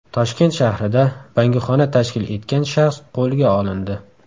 Toshkent shahrida bangixona tashkil etgan shaxs qo‘lga olindi.